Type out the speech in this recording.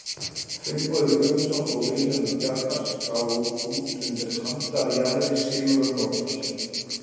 Finnbogi Guðmundsson og Vilhjálmur Bjarnar gáfu út undir handarjaðri Sigurðar Nordal.